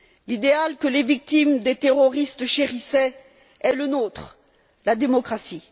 L'idéal que les victimes des terroristes chérissaient est le nôtre la démocratie.